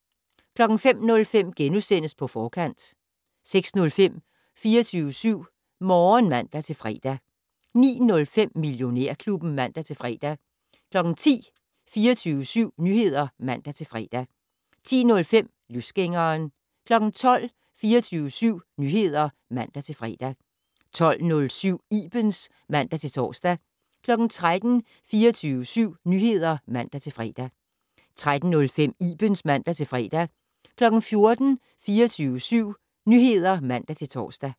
05:05: På Forkant * 06:05: 24syv Morgen (man-fre) 09:05: Millionærklubben (man-fre) 10:00: 24syv Nyheder (man-fre) 10:05: Løsgængeren 12:00: 24syv Nyheder (man-fre) 12:07: Ibens (man-tor) 13:00: 24syv Nyheder (man-fre) 13:05: Ibens (man-fre) 14:00: 24syv Nyheder (man-tor)